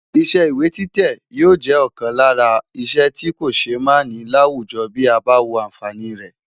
Iṣẹ́ ìwé títẹ̀ yóò jẹ́ ọ̀kan lára iṣẹ́ tí kò ṣe é máà ní láwùjọ bí a bá wo àǹfààní rẹ̀.